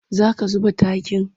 Za ka zuba takin?